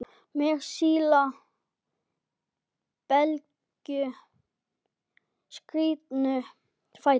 Með sína bleiku, skrítnu fætur?